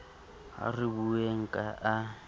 ha re bueng ka a